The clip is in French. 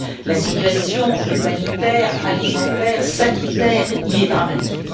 La situation humanitaire, alimentaire, sanitaire y est dramatique.